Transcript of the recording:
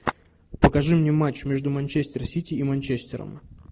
покажи мне матч между манчестер сити и манчестером